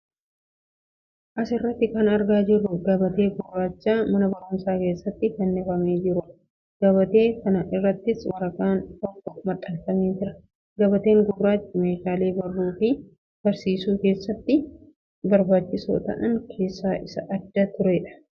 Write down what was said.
As irratti kan argaa jirru gabatee gurraacha mana barumsaa keessatti fannifamee jiruu dha. Gabatee kana irrattis waraqaan tokko maxxanfamee jira. Gabateeen gurraachi meeshaalee baruu fi barsiisuu keessatti barbaachisoo ta'an keessaa isa adda duree dha.